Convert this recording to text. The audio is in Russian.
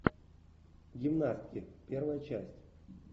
гимнастки первая часть